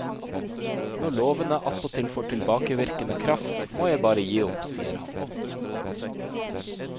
Når lovene attpåtil får tilbakevirkende kraft, må jeg bare gi opp, sier han.